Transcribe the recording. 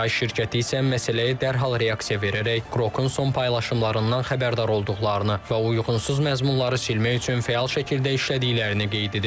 XAI şirkəti isə məsələyə dərhal reaksiya verərək Qrokun son paylaşımlarından xəbərdar olduqlarını və uyğunsuz məzmunları silmək üçün fəal şəkildə işlədiklərini qeyd edib.